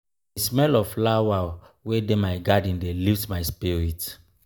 di smell of flower wey dey my garden dey lift my spirit.